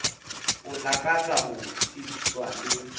o lakatsa ho tsebiswa le